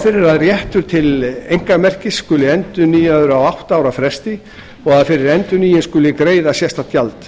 fyrir að réttur til einkamerkis skuli endurnýjaður á átta ára fresti og að fyrir endurnýjun skuli greiða sérstakt gjald